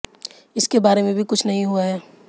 इसके बारे में भी कुछ नहीं हुआ है